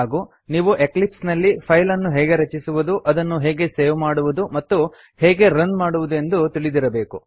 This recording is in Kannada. ಹಾಗೂ ನೀವು ಎಕ್ಲಿಪ್ಸ್ ನಲ್ಲಿ ಫೈಲ್ ಅನ್ನು ಹೇಗೆ ರಚಿಸುವುದು ಅದನ್ನು ಹೇಗೆ ಸೇವ್ ಮಾಡುವುದು ಮತ್ತು ಹೇಗೆ ರನ್ ಮಡುವುದು ಎಂದು ತಿಳಿದಿರಬೇಕು